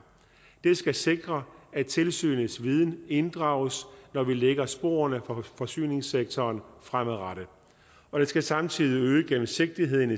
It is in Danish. det skal sikre at tilsynets viden inddrages når vi lægger sporene for forsyningssektoren fremadrettet og det skal samtidig øge gennemsigtigheden